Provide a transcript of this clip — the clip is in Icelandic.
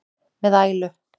með ælu.